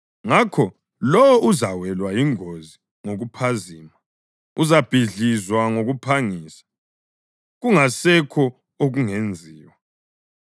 Ngakho lowo uzawelwa yingozi ngokuphazima; uzabhidlizwa ngokuphangisa kungasekho okungenziwa.